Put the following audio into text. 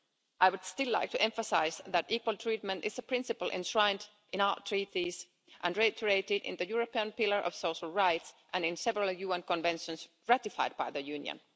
I would still like to emphasise that equal treatment is a principle enshrined in our Treaties and reiterated in the European Pillar of Social Rights and in several UN conventions ratified by the Union.